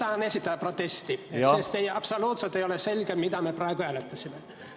Ma tahan esitada protesti, sest ei ole absoluutselt selge, mida me praegu hääletasime.